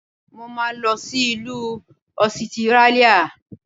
Mo máa lọ sí ìlú Ọsitírálíà.